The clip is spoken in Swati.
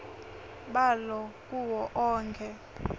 balo kuwo onkhe